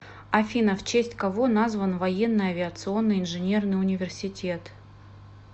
афина в честь кого назван военный авиационный инженерный университет